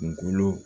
Kunkolo